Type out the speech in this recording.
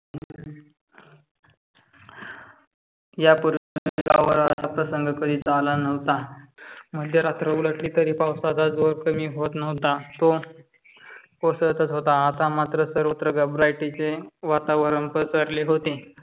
यापूर्वी गावा वर असा प्रसंग अल नव्हता. मध्य रात्र उलटली तरी पावसाचा जोर कमी होत नव्हता. तो ओसारतच होता. आता मात्र सर्वत्र घबरटीचे वातावरण पसरले होते.